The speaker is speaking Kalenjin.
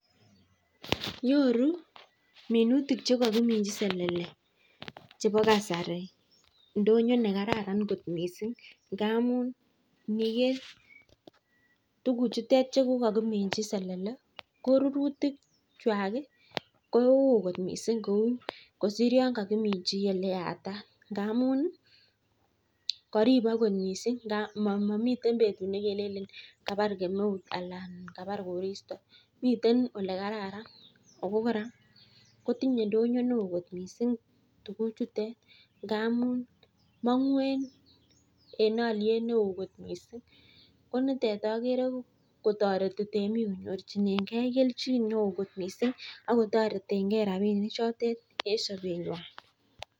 Nyoru minutik chekokiminji selele chebo kasari ndonyo nekararan kot missing, ngamun iniker tuguchutet cheko kokinimji selele ko rurikwak koo woo kot missing kou kosir yon kokiminji eleyatat ngamun koripok kot miisingmomiten betut nekelelen kabar kemeut alan kabar koristo miten olekararan ako kora kotinye ndonyo ne oo kot missing tuguchutet ngamun mongung en alyet neo kot missing, konitet akere kotoreti temik konyorchinenge kelchin neo kot missing akotoretengee rapinichotet en sobenywan.